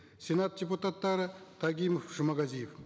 сенат депутаттары тагимов жұмағазиев